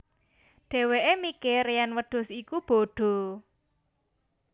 Dheweke mikir yen wedhus iku bodo